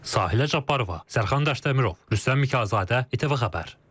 Sahilə Cabbarova, Sərxan Qaşdəmirov, Rüstəm Mikayılovzadə, ATV Xəbər.